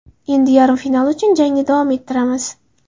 Endi yarim final uchun jangni davom ettiramiz.